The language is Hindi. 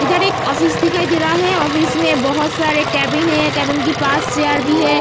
इधर एक ऑफिस दिखाई दे रहा है ऑफिस में बहुत सारे केबिन है केबिन के पास चेयर भी है।